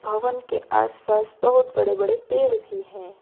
भवन के आसपास बहुत बड़े बड़े पेड़ भी हैं।